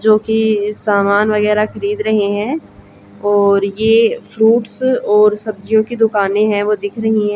जो कि सामान वगैरह खरीद रहे हैं और ये फ्रूट्स और सब्जियों की दुकानें हैं वो दिख रही हैं।